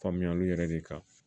Faamuyaliw yɛrɛ de kan